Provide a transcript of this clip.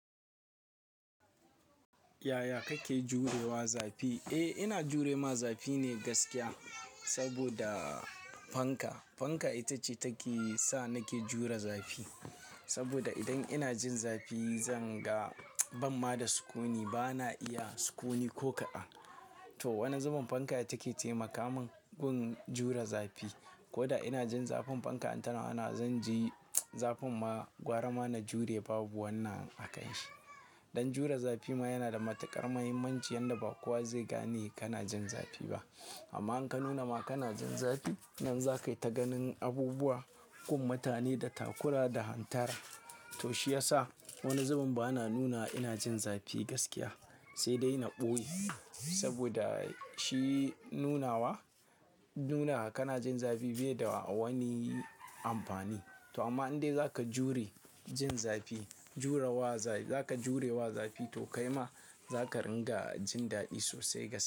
Yaya kake jurewa zafi? Eh ina jure ma zafi ne gaskiya saboda fanka. Fanka ita ce take sa nake jure zafi. Saboda idan ina jin zafi zan ga ban ma da sukuni. Bana iya sukuni ko kaɗan. To wani zubin fanka ita take taimakamun gun jure zafi. Ko da ina jin zafin fanka in tana wanawa zan ji zafin ma, gwara ma na jure babu wannan a kan shi. Don jure zafi ma yana da matukar muhimmanci yanda ba kowa zai gane kana jin zafi ba. Amma in ka nuna ma kana jin zafi nan za ka yi ta ganin abubuwa, gun mutane da takura da hantara. To shi ya sa wani zubin bana nuna ina jin zafi gaskiya sai dai na ɓoye. Saboda shi nunawa, nuna kana jin zafi bai da wani amfani. To amma in dai za ka jure jin zafi, jurewa zafi, za ka jurewa zafi to kai ma za ka ringa jin daɗi sosai ga.